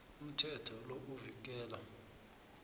umthetho lo uvikela